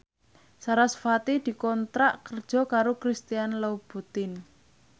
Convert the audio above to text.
sarasvati dikontrak kerja karo Christian Louboutin